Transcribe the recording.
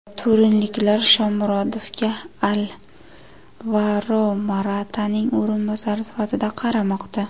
Turinliklar Shomurodovga Alvaro Morataning o‘rinbosari sifatida qaramoqda.